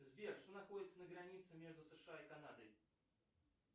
сбер что находится на границе между сша и канадой